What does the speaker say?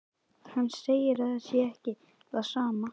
Hann segir að það sé ekki það sama.